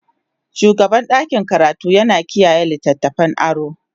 shugaban ɗakin karatu yana kiyaye littattafan aro.